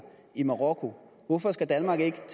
i marokko hvorfor skal danmark ikke